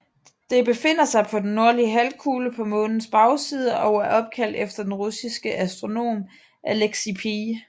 Det befinder sig på den nordlige halvkugle på Månens bagside og er opkaldt efter den russiske astronom Aleksey P